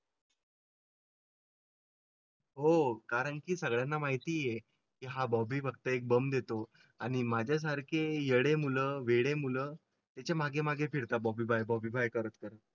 हो हो कारण की सगळ्यांना माहिती आहे की हा बॉबी फक्त एक बम देतो आणि माझ्या सारखी येडे मुळे मुलं त्याच्या मागे मागे फिरता बॉबी बॉबी बाय करत करा.